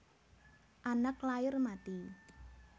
Anak lair mati